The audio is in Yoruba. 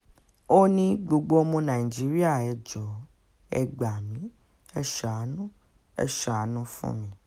ó ní gbogbo ọmọ nàìjíríà ẹ jọ̀ọ́ ẹ gbà mí ẹ́ ṣàánú ẹ́ ṣàánú fún mi o